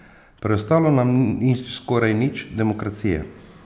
Preostalo nam ni skoraj nič demokracije.